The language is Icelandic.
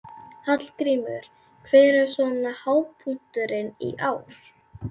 Hallgrímur, hver er svona hápunkturinn í ár?